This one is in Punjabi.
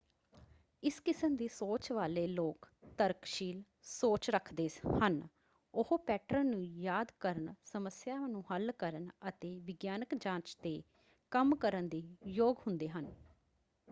ਇਸ ਕਿਸਮ ਦੀ ਸੋਚ ਵਾਲੇ ਲੋਕ ਤਰਕਸ਼ੀਲ ਸੋਚ ਰੱਖਦੇ ਹਨ ਉਹ ਪੈਟਰਨ ਨੂੰ ਯਾਦ ਕਰਨ ਸਮੱਸਿਆਵਾਂ ਨੂੰ ਹੱਲ ਕਰਨ ਅਤੇ ਵਿਗਿਆਨਕ ਜਾਂਚ 'ਤੇ ਕੰਮ ਕਰਨ ਦੇ ਯੋਗ ਹੁੰਦੇ ਹਨ।